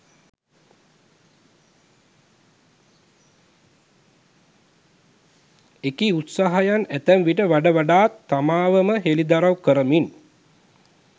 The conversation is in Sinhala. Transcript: එකී උත්සාහයන් අතැම්විට වඩ වඩාත් තමාව ම හෙළිදරව් කරමින්